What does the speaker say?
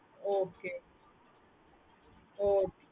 okay okay